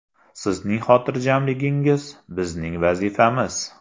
Sizning xotirjamligingiz – bizning vazifamiz!